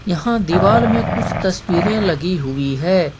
यहाँ दीवार में कुछ तस्वीरें लगी हुई हैं।